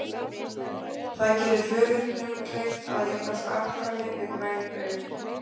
Það gerir föðurnum kleyft að eignast afkvæmi með græn augu.